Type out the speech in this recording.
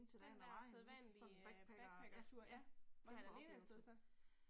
Den der sædvanlige backpackertur ja. Var han alene afsted så?